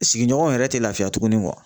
Sigiɲɔgɔnw yɛrɛ tɛ lafiya tugunni